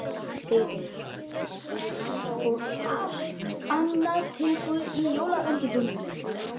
Sigríður: Og allt annað tilbúið í jólaundirbúningnum?